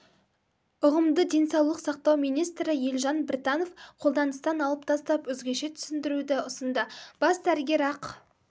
ұғымды денсаулық сақтау министрі елжан біртанов қолданыстан алып тастап өзгеше түсіндіруді ұсынды бас дәрігер ақ